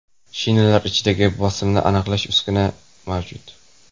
Shinalar ichidagi bosimni aniqlovchi uskuna ham mavjud.